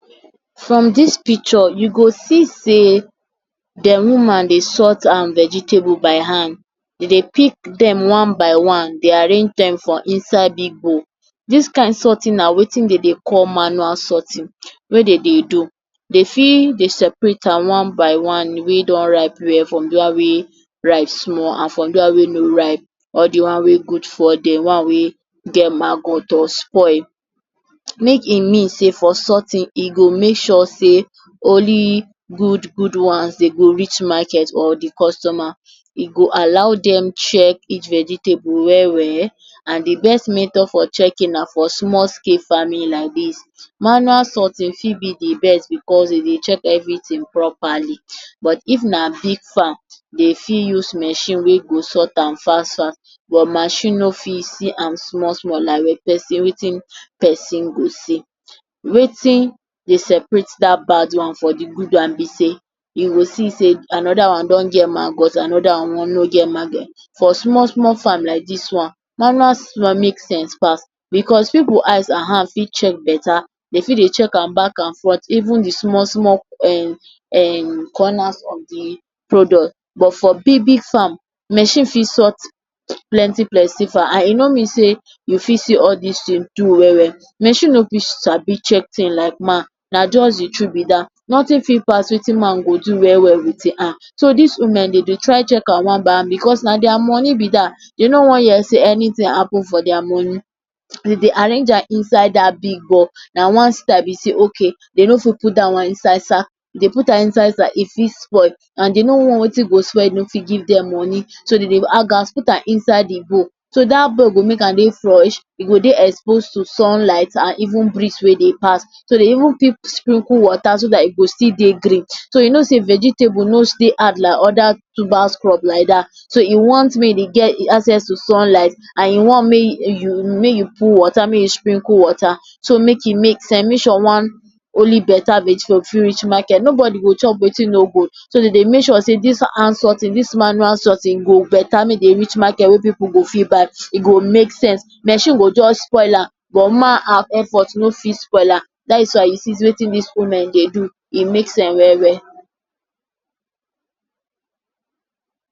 From dis pikcho you go see sey, de wuman dey sort am vegetable by hand, e dey pik dem one by one and dey arrange am for inside big bowl. Dis kind sortin na wetin de dey call manual sortin wey de dey do. De fit dey separate am one by one wey don ripe well from the one wey ripe small and di one wey no ripe, di one wey gud from di one wey get maggot or spoil. Make e mean sey for sortin e go make sure sey, only gud-gud ones de go rich maket, or the customer, e go alow dem chek each vegetable we-we and di best method for chekin na for small scale farmin like dis. Manual sortin fit be di best becos de dey chek everi tin propali but if na big farm, dey fit use mashin wey go sort am fast-fast. But mashin no fit sort am small-small di wey pesin go see. Wetin dey separate dat bad one from the gud one be sey, you go see sey, anoda one don get maggot, anoda one don get maggot. For small-small farm like dis one manual farm make sense pas becos pipu eyes and hand fit chek beta, dem fit dey chek bak and front, even di small-small corner of di product but for big-big farm, machine fit sort plenty-plenty for eye. E no mean sey you fit see all dis tin do we-we. Mashin no fit like dis chek tins like man, na jost di true be dat, notin fit pas wetin man go do we-we with im hand. So dis wumen de dey try chek am one by one bicos na dia moni be dat. Dey no wam hear sey anytin happen for dia moni, dem dey arrange am inside dat big bowl, na one side be ok, de no fit put am inside sak, if dey put am, e fit spoil. And de no wan wetin go spoil no fit give dem moni. Dem dey put am inside di bowl so dat bowl go E go dey expose to sunlight and even briz wey dey pas. So dey even fit sprinkle wota so dat e go dey green. So you no sey if vegetable no stay hard like oda tuba crop, so e want mey e get acess to sunlight, and you want mey you put wota mey you sprinkle wota so make e mix am, make sure only one vegetable fit rich maket, nobodi go chop wetin no gud. So de dey make sure sey, dis hand sortin, dis manual sortin go beta mey dey rich market wey pipu go fit buy, e go make sense, mashin go just spoil am, but man hand no fit spoil am dat is why you see sey wetin dis wumen fit do make sense we-we.